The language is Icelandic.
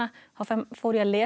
fór ég að lesa